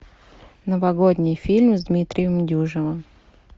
новогодний фильм с дмитрием дюжевым